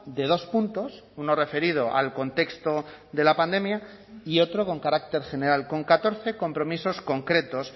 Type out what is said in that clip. de dos puntos uno referido al contexto de la pandemia y otro con carácter general con catorce compromisos concretos